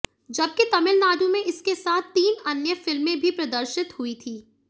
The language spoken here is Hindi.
जबकि तमिलनाडु में इसके साथ तीन अन्य फिल्में भी प्रदर्शित हुई थीं